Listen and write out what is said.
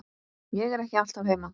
Ég er ekki alltaf heima.